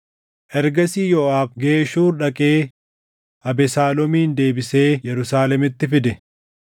Ergasii Yooʼaab Geshuur dhaqee Abesaaloomin deebisee Yerusaalemitti fide.